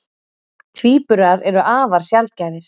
Tvíburar eru afar sjaldgæfir.